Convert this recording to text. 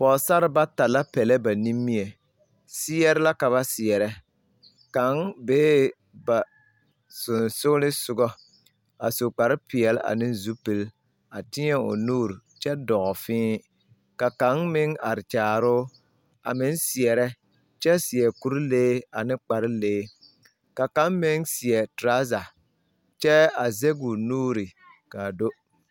Pɔgesare bata la pɛlɛ ba nimie seɛre la ka ba seɛrɛ kaŋ bee ba sensoglesoga a su kparepeɛle a ne zupili a teɛ o nuuri kyɛ dɔɔ fee ka kaŋ meŋ are kyaare o a meŋ seɛrɛ kyɛ seɛ kurilee ane kparelee ka kaŋ meŋ seɛ torɔza kyɛ a zɛge o nuuri k,a do.